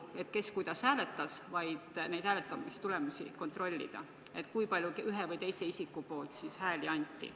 Ma ei mõtle seda, kes kuidas hääletas, vaid kui palju ühe või teise isiku poolt hääli anti?